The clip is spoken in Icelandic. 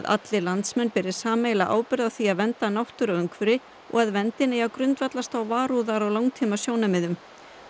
allir landsmenn beri sameiginlega ábyrgð á því að vernda náttúru og umhverfi og að verndin eigi að grundvallast á varúðar og langtímasjónarmiðum